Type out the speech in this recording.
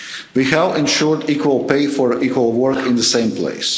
have. We have ensured equal pay for equal work in the same place.